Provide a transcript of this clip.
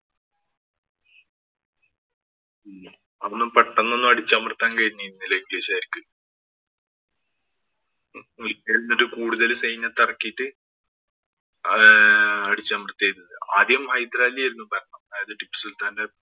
അതൊന്നും പെട്ടന്ന് ഒന്നും അടിച്ചമര്‍ത്താന്‍ കഴിഞ്ഞിരുന്നില്ല ഇംഗ്ലീഷുകാര്‍ക്ക്. ഒരിക്കല്‍ എന്നിട്ട് കൂടുതല്‍ സൈന്യത്തെ ഇറക്കിയിട്ട്‌ അത് അടിച്ചമര്‍ത്തിയിരുന്നു. ആദ്യം ഹൈദരാലി ആയിരുന്നു ഭരണം. അതായത് ടിപ്പു സുല്‍ത്താന്‍റെ